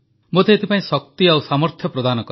ମୋତେ ଏଥିପାଇଁ ଶକ୍ତି ଓ ସାମର୍ଥ୍ୟ ପ୍ରଦାନ କର